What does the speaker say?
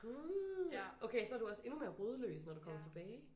Gud! Okay så du også endnu mere rodløs når du kommer tilbage?